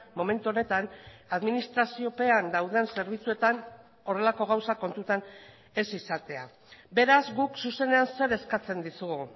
momentu honetan administraziopean dauden zerbitzuetan horrelako gauzak kontutan ez izatea beraz guk zuzenean zer eskatzen dizugu